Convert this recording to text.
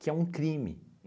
que é um crime.